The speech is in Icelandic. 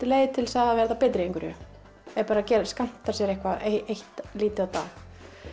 leið til að verða betri í einhverju er bara að skammta sér eitthvað eitt lítið á dag